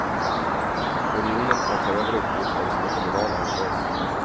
Unionen kan ta över uppgifter som är kommunala hos oss.